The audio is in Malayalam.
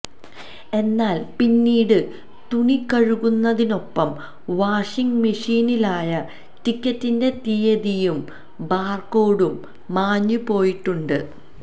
എന്നാല് പിന്നീട് തുണി കഴുകുന്നതിനൊപ്പം വാഷിങ്ങ് മെഷീനിലായ ടിക്കറ്റിന്റെ തീയതിയും ബാര്കോഡും മാഞ്ഞുപോയിട്ടുണ്ട്